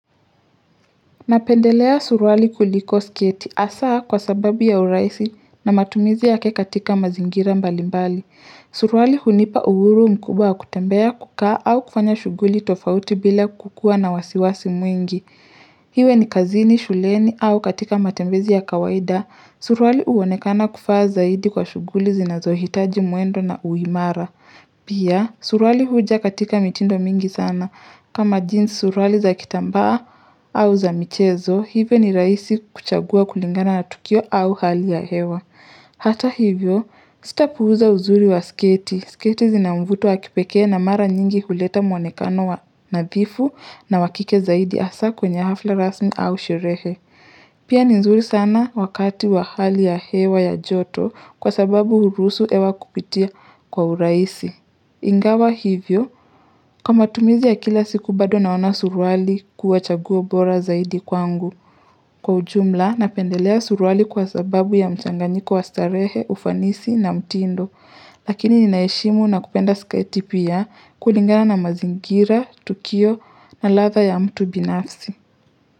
Napendelea suruali kuliko sketi hasa kwa sababu ya urahisi na matumizi yake katika mazingira mbali mbali. Suruali hunipa uhuru mkubwa wa kutembea kukaa au kufanya shughuli tofauti bila kukua na wasiwasi mwingi. Iwe ni kazini, shuleni au katika matembezi ya kawaida, suruali huonekana kufaa zaidi kwa shughuli zinazohitaji mwendo na uimara. Pia, suruali huja katika mitindo mingi sana. Kama jinsi suruali za kitambaa au za michezo, hivyo ni rahisi kuchagua kulingana na tukio au hali ya hewa. Hata hivyo, sitapuuza uzuri wa sketi. Sketi zina mvuto wa kipekee na mara nyingi kuleta muonekano wa nadhifu na wa kike zaidi hasa kwenye hafla rasmi au sherehe. Pia ni nzuri sana wakati wa hali ya hewa ya joto kwa sababu huruhusu hewa kupitia kwa urahisi. Ingawa hivyo, kwa matumizi ya kila siku bado naona suruali kuwa chaguo bora zaidi kwangu Kwa ujumla, napendelea suruali kwa sababu ya mchanganyiko wa starehe, ufanisi na mtindo Lakini ninaheshimu na kupenda sketi pia kulingana na mazingira, tukio na ladha ya mtu binafsi.